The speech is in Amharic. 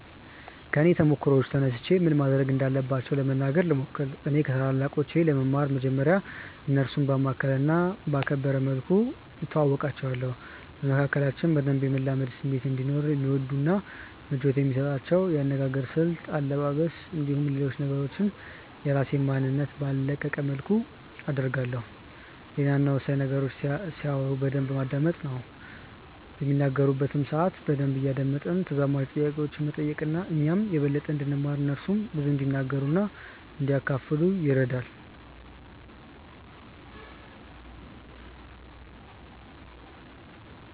ከኔ ተሞክሮ ተነስቼ ምን ማድረግ እንዳለባቸው ለመናገር ልሞክር። እኔ ከታላላቆቼ ለመማር መጀመርያ እነርሱን ባማከለ እና ባከበረ መልኩ እተዋወቃቸዋለሁ። በመካከላችን በደንብ የመላመድ ስሜት እንዲኖርም የሚወዱትን እና ምቾት የሚሰጣቸውን የአነጋገር ስልት፣ አለባበስ፣ እንዲሁም ሌሎች ነገሮችን የራሴን ማንነት ባልለቀቀ መልኩ አደርጋለሁ። ሌላው እና ወሳኙ ነገር ሲያወሩ በደንብ ማዳመጥ ነው። በሚናገሩበት ሰአት በደንብ እያደመጥን ተዛማጅ ጥያቄዎችን መጠየቅ እኛም የበለጠ እንድንማር እነርሱም ብዙ እንዲናገሩ እና እንዲያካፍሉን ይረዳል።